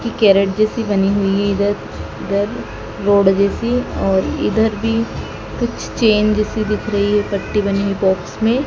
ये कैरेट जैसी बनी हुई है इधर इधर रोड जैसी और इधर भी कुछ चैन जैसी दिख रही है पट्टी बनी हुई बॉक्स में।